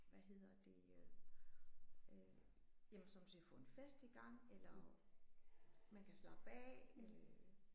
Hvad hedder det øh jamen sådan set få en fest i gang eller man kan slappe af øh